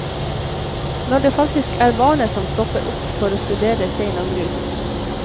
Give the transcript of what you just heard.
Når det faktisk er barnet som stopper opp for å studere stein og grus.